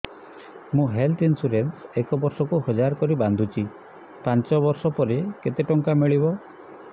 ମୁ health insurance ଏକ ବର୍ଷକୁ ହଜାର କରି ବାନ୍ଧୁଛି ପାଞ୍ଚ ବର୍ଷ ପରେ କେତେ ଟଙ୍କା ମିଳିବ